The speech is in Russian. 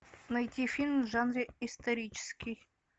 найти фильм в жанре исторический